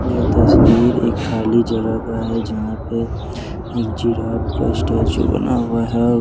यह तस्वीर एक खाली जगह का है जहां पे एक जिराफ का स्टेचू बना हुआ है।